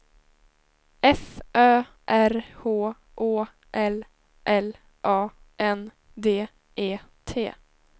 F Ö R H Å L L A N D E T